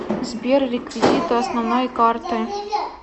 сбер реквизиты основной карты